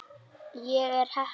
Ég er heppin.